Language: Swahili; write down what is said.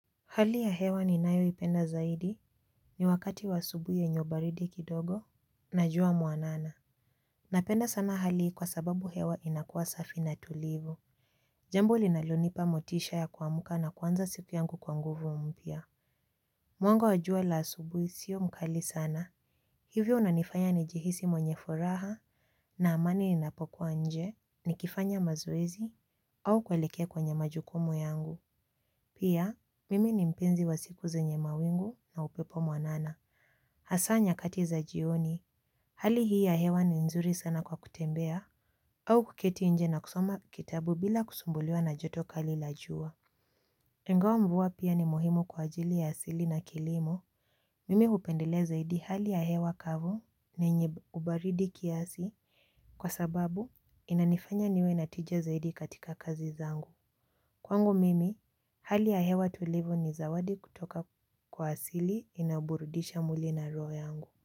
Hali ya hewa ninayoipenda zaidi ni wakati wa asubuhi yenye ubaridi kidogo na jua mwanana. Napenda sana hali hii kwa sababu hewa inakuwa safi na tulivu. Jambo linalonipa motisha ya kuamka na kuanza siku yangu kwa nguvu mpya. Mwanga wa jua la asubuhi sio mkali sana. Hivyo unanifanya nijihisi mwenye furaha na amani ninapokuwa nje nikifanya mazoezi au kuelekea kwenye majukumu yangu. Pia, mimi ni mpenzi wa siku zenye mawingu na upepo mwanana. Hasa nyakati za jioni, hali hii ya hewa ni nzuri sana kwa kutembea au kuketi nje na kusoma kitabu bila kusumbuliwa na joto kali la jua. Ingawa mvua pia ni muhimu kwa ajili ya asili na kilimo, mimi upendelea zaidi hali ya hewa kavu na yenye ubaridi kiasi kwa sababu inanifanya niwe na tijia zaidi katika kazi zangu. Kwangu mimi, hali ya hewa tulivu ni zawadi kutoka kwa asili inaburudisha mwili na roho yangu.